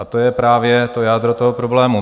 A to je právě to jádro toho problému.